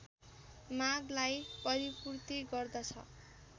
मागलाई परिपूर्ति गर्दछ।